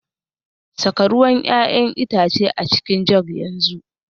Saka ruwan 'ya'yan itace a cikin jug yanzu